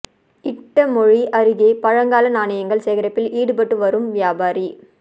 இட்டமொழி அருகே பழங்கால நாணயங்கள் சேகரிப்பில் ஈடுபட்டு வரும் வியாபாரி